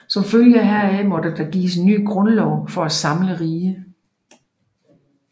Som følge heraf måtte der gives en ny grundlov for det samlede rige